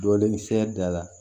Dɔɔnin sɛ da la